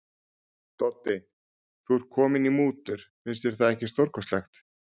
Doddi, þú ert kominn í mútur, finnst þér það ekki stórkostlegt.